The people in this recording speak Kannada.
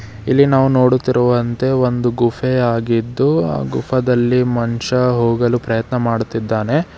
ಇಲ್ಲಿ ನಾವು ನೋಡುತ್ತಿರುವಂತೆ ಒಂದು ಗುಫೆ ಆಗಿದ್ದು ಆ ಗುಫ ದಲ್ಲಿ ಮನಷ್ಯ ಹೋಗಲು ಪ್ರಯತ್ನ ಮಾಡುತ್ತಿದ್ದಾನೆ.